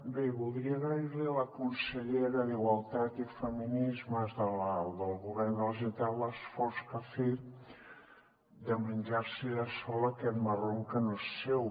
bé voldria agrair li a la consellera d’igualtat i feminismes del govern de la generalitat l’esforç que ha fet de menjar se ella sola aquest marron que no és seu